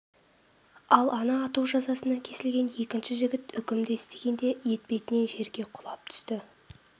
ал ана ату жазасына кесілген екінші жігіт үкімді естігенде етпетінен жерге құлап түсті